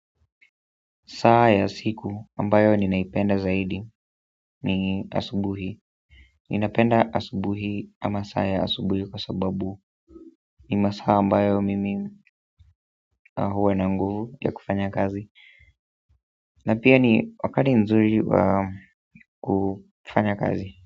Saa ya siku ambayo ninaipenda zaidi ni asubuhi ninapenda asubuhi ama saa ya asubuhi kwa sababu ni masaa ambayo mimi huwa na nguvu ya kufanya kazi na pia ni wakati nzuri wa kufanya kazi.